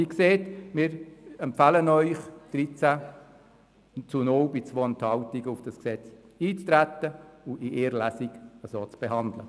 Wie gesagt empfehlen wir Ihnen mit 13 Ja bei 2 Enthaltungen, auf dieses Gesetz einzutreten und es in einer einzigen Lesung zu beraten.